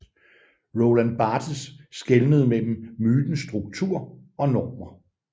Roland Barthes skelnede mellem mytens struktur og normer